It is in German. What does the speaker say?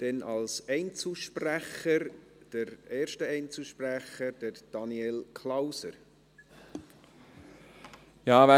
Ich erteile als erstem Einzelsprecher Daniel Klauser das Wort.